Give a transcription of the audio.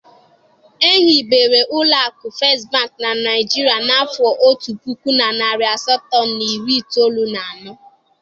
E hibere ụlọ akụ First Bank na Naijiria n'afọ otu puku na narị asatọ na iri itoolu na anọ.